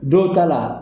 Dɔw ta la